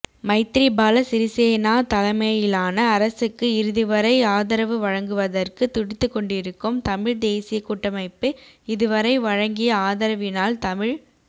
மைத்திரிபால சிறிசேனா தலமையிலான அரசுக்கு இறுதிவரை ஆதரவு வழங்குவதற்கு துடித்துக் கொண்டிருக்கும் தமிழ்தேசிய கூட்டமைப்பு இதுவரை வழங்கிய ஆதரவினால் தமிழ்